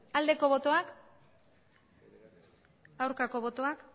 aldeko botoak aurkako botoak